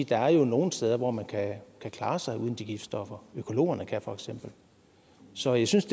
der jo er nogle steder hvor man kan klare sig uden de giftstoffer økologerne kan for eksempel så jeg synes